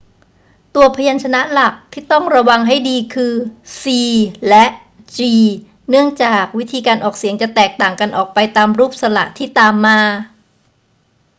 ตัวพยัญชนะหลักที่ต้องระวังให้ดีคือ c และ g เนื่องจากวิธีการออกเสียงจะแตกต่างกันออกไปตามรูปสระที่ตามมา